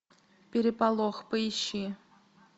переполох поищи